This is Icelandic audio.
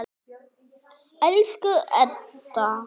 Elsku Edda.